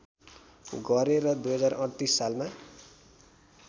गरे र २०३८ सालमा